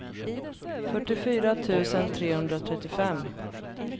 fyrtiofyra tusen trehundratrettiofem